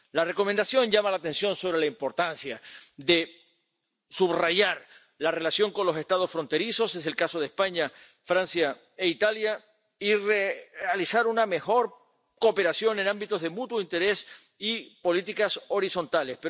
La Recomendación llama la atención sobre la importancia de subrayar la relación con los Estados fronterizos —es el caso de España, Francia e Italia— y de realizar una mejor cooperación en ámbitos de mutuo interés y políticas horizontales.